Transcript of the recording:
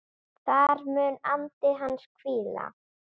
Þar mun andi hans hvíla.